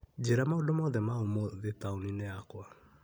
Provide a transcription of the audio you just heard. Njĩra maũndũ mothe ma ũmũthĩ taũni-inĩ yakwa.